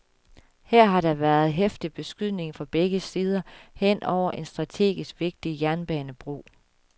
Her har der været heftig beskydning fra begge sider hen over en strategisk vigtig jernbanebro.